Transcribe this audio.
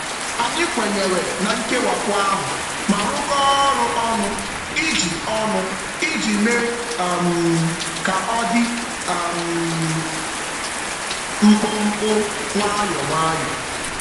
Anyị kwenyere na nkewapụ ahụ ma rụkọọ ọrụ ọnụ iji ọnụ iji mee um ka ọ dị um mkpụmkpụ, nwayọ nwayọ.